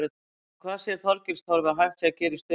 En hvað sér Þorgils Torfi að hægt sé að gera í stöðunni?